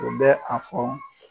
U bɛ a fɔ